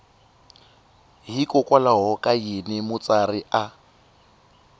hikokwalaho ka yini mutsari a